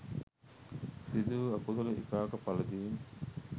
සිදු වූ අකුසල විපාක පලදීම්